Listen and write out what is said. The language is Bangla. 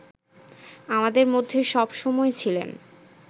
আমাদের মধ্যে সবসময় ছিলেন